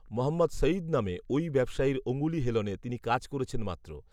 মহম্মদ সঈদ নামে, ওই ব্যবসায়ীর অঙ্গুলি হেলনে, তিনি কাজ করেছেন মাত্র